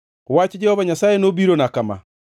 Wach Jehova Nyasaye nobirona kama: